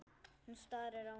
Hún starir á mig.